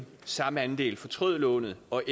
samme andel fortrød lånet og